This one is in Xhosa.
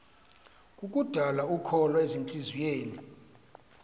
kukudala ukholo ezintliziyweni